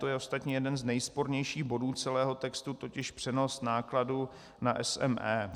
To je ostatně jeden z nejspornějších bodů celého textu, totiž přenos nákladů na SME.